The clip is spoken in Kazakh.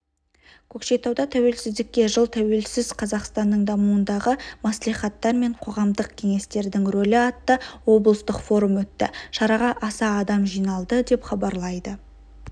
көкшетауда тәуелсіздікке жыл тәуелсіз қазақстанның дамуындағы мәслихаттар мен қоғамдық кеңестердің рөлі атты облыстық форум өтті шараға аса адам жиналды деп хабарлайды